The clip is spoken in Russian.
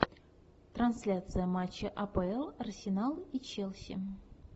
трансляция матча апл арсенал и челси